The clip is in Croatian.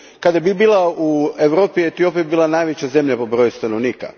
Kada bi bila u Europi, Etiopija bi bila najveća zemlja po broju stanovnika.